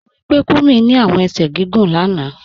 Mo rí pé Kúmí ni awọn èṣẹ̀ gígùn lána